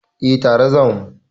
Eh tare za mu.